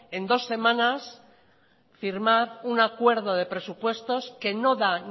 en dos semanas firmar un acuerdo de presupuestos que no da